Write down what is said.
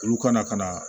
Olu ka na ka na